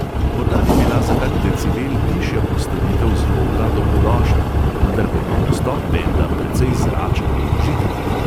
Morda bi bila za kak decibel tišja postavitev zvoka dobrodošla, vendar pa je bil nastop benda precej zračen in užiten.